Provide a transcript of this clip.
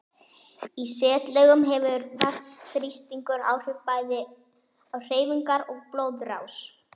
Í setlaugum hefur vatnsþrýstingur áhrif bæði á hreyfingar og blóðrás.